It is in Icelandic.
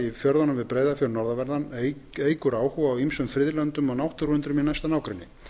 í fjörðunum við breiðafjörð norðanverðan eykur áhuga á ýmsum friðlöndum og náttúruundrum í næsta nágrenni